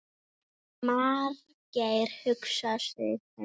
Margeir hugsar sig um.